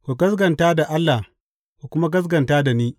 Ku gaskata da Allah, ku kuma gaskata da ni.